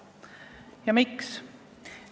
Ja miks?